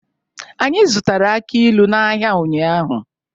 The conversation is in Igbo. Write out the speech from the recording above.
Anyị zụtara aki ilu n'ahịa ụnyaahụ.